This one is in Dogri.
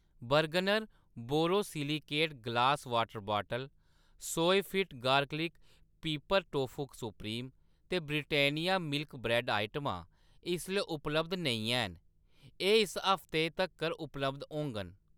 Bergner borosilicate glass water bottle, Soyafit garlic pepper tofu supreme ते ब्रिटानिया मिल्क ब्रैड्ड आइटमां इसलै उपलब्ध नेईं हैन, एह्‌‌ इस हफ्तै तक्कर उपलब्ध होङन